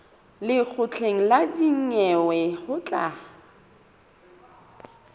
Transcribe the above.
lekgotleng la dinyewe ho tla